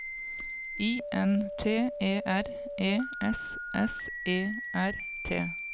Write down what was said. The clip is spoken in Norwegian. I N T E R E S S E R T